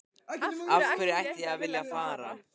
Af hverju ætti ég að vilja að fara?